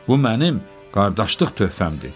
Bu mənim qardaşlıq töhfəmdir.